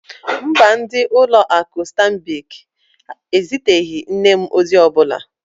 Mba, ndị ụlọ akụ Stanbic eziteghị nne m ozi ọ bụla.